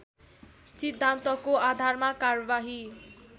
सिद्धान्तको आधारमा कारबाही